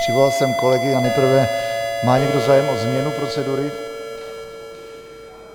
Přivolal jsem kolegy a nejprve - má někdo zájem o změnu procedury?